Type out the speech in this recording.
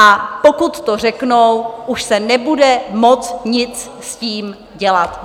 A pokud to řeknou, už se nebude moct nic s tím dělat.